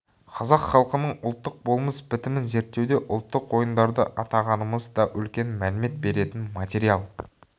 қазақ халқының ұлттық болмыс бітімін зерттеуде ұлттық ойындарды атағанымыз да үлкен мәлімет беретін материал